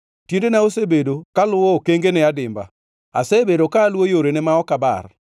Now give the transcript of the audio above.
Tiendena osebedo kaluwo okangene adimba; asebedo ka aluwo yorene ma ok abar.